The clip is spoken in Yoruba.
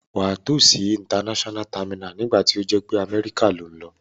Wà á tò si international terminal nígbàtí o jé pe America lo n lo